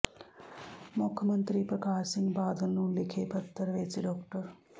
ਮੁੱਖ ਮੰਤਰੀ ਪ੍ਰਕਾਸ਼ ਸਿੰਘ ਬਾਦਲ ਨੂੰ ਲਿਖੇ ਪੱਤਰ ਵਿੱਚ ਡਾ